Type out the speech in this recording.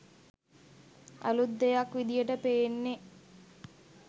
අලුත් දෙයක් විදියට පෙනෙන්නේ.